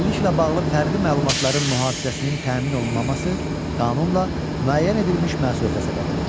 Əlilliklə bağlı fərdi məlumatların mühafizəsinin təmin olunmaması qanunla müəyyən edilmiş məsuliyyətə səbəb olur.